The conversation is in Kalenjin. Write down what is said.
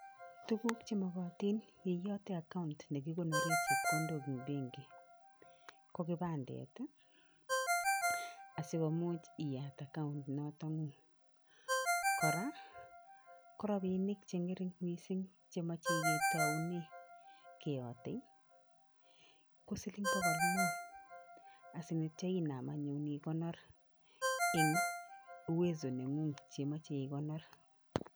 Tuguuk chemakatin yon iyate account ne kikonore chepkondok eng benki ko kipandet asikomuch iyate account noto ngung. Kora ko rapinik che ngaring mising chemache ketoune , keyote ko siling bokol muut anityo inaam anyun ikonor eng uwezo nengung chemeche ikonor.